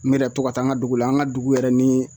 N yɛrɛ to ka taa an ŋa dugu la, an ŋa dugu yɛrɛ ni